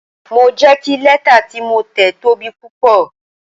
Mo jẹ́ kí lẹ́tà tí mo tẹ̀ tóbi púpọ̀.